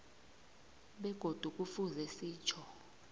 begodu kufuze sitjho